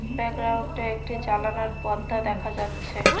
ব্যাকগ্রাউন্ডে একটি জালানার পর্দা দেখা যাচ্ছে।